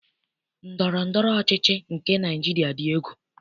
Ndọrọndọrọ ọchịchị nke Naịjiria dị egwu.